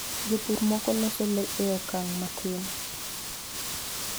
Jopur moko loso le e okang ' matin.